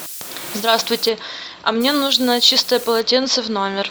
здравствуйте а мне нужно чистое полотенце в номер